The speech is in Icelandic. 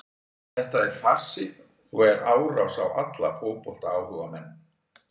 Þetta er farsi og er árás á alla fótboltaáhugamenn.